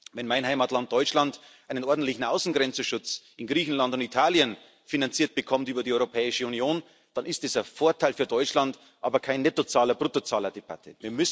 Wenn mein Heimatland Deutschland einen ordentlichen Außengrenzenschutz in Griechenland und Italien finanziert bekommt über die Europäische Union, dann ist das ein Vorteil für Deutschland, aber keine Nettozahler Bruttozahlerdebatte.